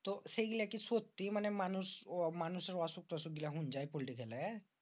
তো সেইগুলা কি সত্যি? মানি মানুষ মানুষের অসুখ টসুখ হইন যায় পল্টি খেলে?